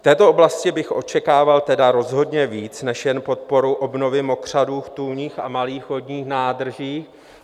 V této oblasti bych očekával tedy rozhodně víc než jen podporu obnovy mokřadů v tůních a malých vodních nádržích.